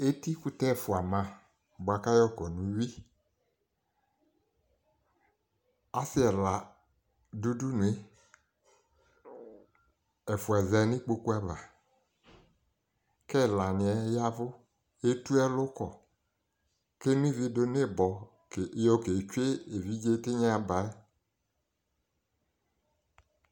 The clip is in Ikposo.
Etikʋtɛ ɛfʋa ma bʋa k'ayɔkɔ n'uyui Asɩɛla dʋ udunue, ɛfʋa za n'ikpoku ava, k'ɛlanɩɛ y'ɛvʋ k'etu ɛlʋkɔ; k'enoivi dʋ n'ɩbɔ yɔ ketsue evidze tɩnyabaɛ